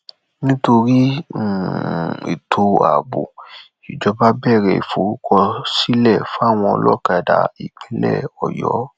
nítorí um ètò ààbò ìjọba bẹrẹ ìforúkọsílẹ fáwọn olókádá ìpínlẹ ọyọ